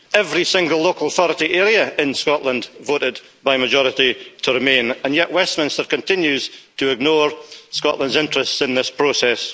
Every single local authority area in Scotland voted by majority to remain, and yet Westminster continues to ignore Scotland's interests in this process.